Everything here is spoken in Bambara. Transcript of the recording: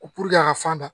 a ka fan da